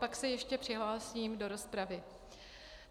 Pak se ještě přihlásím do rozpravy.